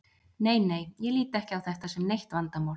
Nei nei, ég lít ekki á þetta sem neitt vandamál.